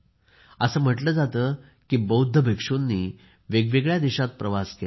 असे म्हटले जाते की बौद्ध भिक्षुकांनी वेगवेगळ्या देशांत प्रवास केला